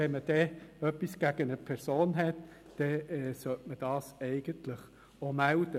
Wenn man etwas gegen eine Person hat, sollte man dies auch melden.